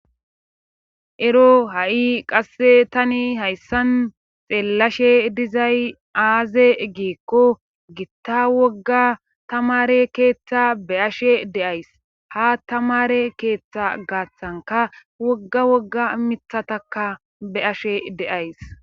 ero ha7i qasse tani hayssan xeellashe dizay aaze giikko gitta wogga tamare keeththa be ashe deays ha tamare keeththa gaaththanka wogga wogga mithataka be ashe deays